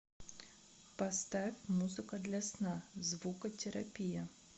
поставь музыка для сна звукотерапия